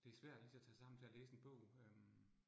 Det svært lige så tage sig sammen til at læse en bog øh